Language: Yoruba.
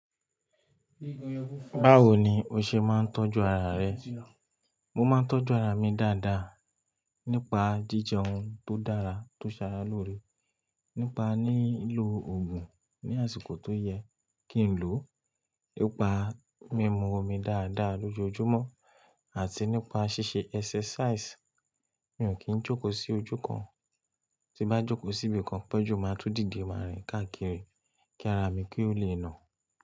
Báwo ni o ṣe máa ń tọ́jú ara rẹ? Mo máa ń tọ́jú ara mi dáadáa nípa jíjẹ ohun tó dára tó ṣaralóore, nípa lílo òògùn ní àsìkò tó yẹ kí n lò, nípa mímu omi dáadáa lójoojúmọ́ àti nípa ṣíṣe exercise. Mi ò kí ń jókòó sí ojú kan, tí bá jókòó síbi kan pẹ́jú máa tún dìde máa rìn káàkiri kí ara mi kí ó lè nà.